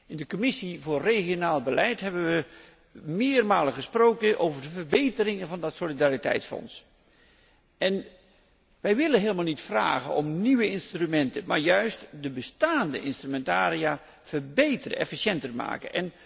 In de Commissie regionaal beleid hebben we meermalen gesproken over de verbeteringen van het Solidariteitsfonds. Wij willen helemaal niet om nieuwe instrumenten vragen, maar juist de bestaande instrumentaria verbeteren, efficiënter maken.